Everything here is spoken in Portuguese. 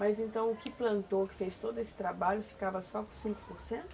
Mas então o que plantou, que fez todo esse trabalho, ficava só com cinco por cento?